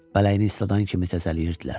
Bələyini isladan kimi təsəlliyirdilər.